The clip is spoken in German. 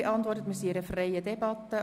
Wir führen eine freie Debatte.